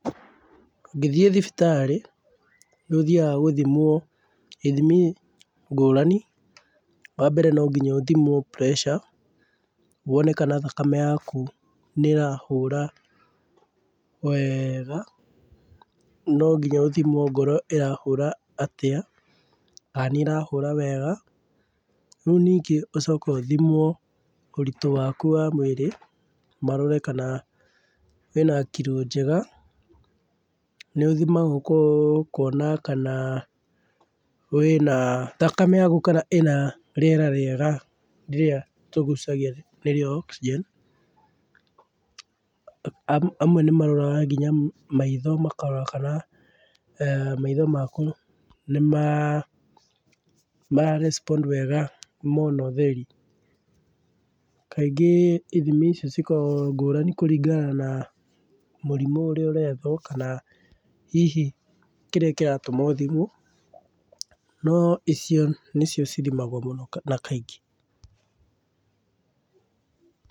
Ũngĩthiĩ thibitarĩ, nĩ ũthiaga gũthimwo ithimi ngũrani. Wa mbere no ngĩnya ũthimwo pressure wone kana thakame yaku nĩ ĩrahũra wega, no ngĩnya ũthimwo ngoro ĩrahũra atĩa, kana nĩ ĩrahũra wega. Rĩũ ningĩ ũcoke ũthimwo ũritu waku wa mwĩrĩ marore kana wĩna kiro njega, nĩũthimagwo kũ kwona kana wĩna thakame yakũ kana ĩna rĩera rĩega rĩrĩa tũgucagia nĩrĩo oxygen, amwe nĩ maroraga nginya maitho, makarora kana maitho maku nĩma nĩmara respond wega mona ũtheri. Kaingĩ ithimi ici cikoragwo ngũrani kũringana na mũrimũ ũrĩa ũrethwo kana hihi kĩrĩa kĩratũma ũthimwo, no icio nĩcio cithimagwo mũno na kaingĩ.